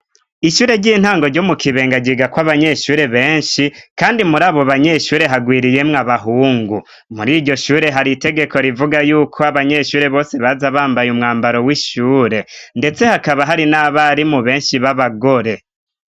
Ishure ry'intango ryo mu Kibenga ryigako abanyeshure benshi kandi muri abo banyeshure hagwiriyemwo abahungu, muri iryo shure hari itegeko rivuga yuko abanyeshure bose baza bambaye umwambaro w'ishure, ndetse hakaba hari n'abarimu benshi b'abagore.